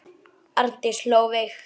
Arndís hló veikt.